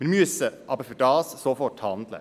Dafür müssen wir aber sofort handeln.